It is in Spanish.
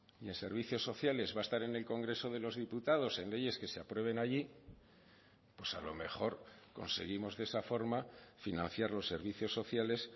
y en servicios sociales va a estar en el congreso de los diputados en leyes que se aprueben allí pues a lo mejor conseguimos de esa forma financiar los servicios sociales